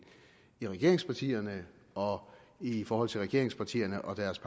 i regeringspartierne og i forhold til regeringspartierne og deres